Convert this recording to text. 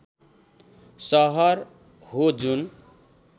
सहर हो जुन